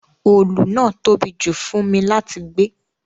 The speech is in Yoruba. Òòlù náà tóbi jù fún mi láti gbé